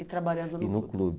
E trabalhando e no clube?